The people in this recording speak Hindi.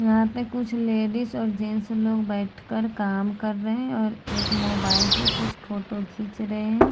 यहाँ पे कुछ लेडिज और जेन्टस लोग बैठ कर काम कर रहे हैं और एक मोबाइल से कुछ फोटो खींच रहे हैं।